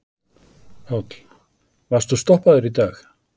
Páll: Varstu stoppaður í dag?